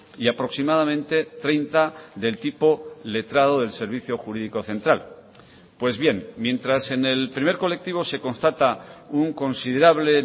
y aproximadamente treinta del tipo letrado del servicio jurídico central pues bien mientras en el primer colectivo se constata un considerable